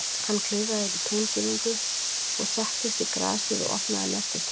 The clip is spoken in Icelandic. Hann klifraði yfir túngirðingu og settist í grasið og opnaði nestistöskuna.